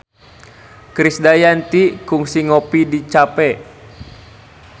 Krisdayanti kungsi ngopi di cafe